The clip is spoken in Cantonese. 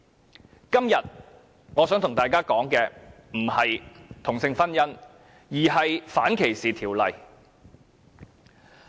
我今天並非想與大家談同性婚姻，而是想說一說反歧視條例。